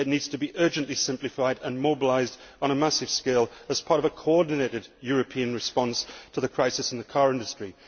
It needs to be urgently simplified and mobilised on a massive scale as part of a coordinated European response to the crisis in the car industry.